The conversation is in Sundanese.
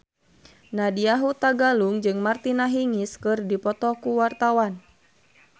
Nadya Hutagalung jeung Martina Hingis keur dipoto ku wartawan